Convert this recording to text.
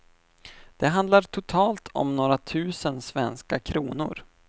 Det handlar totalt om några tusen svenska kronor.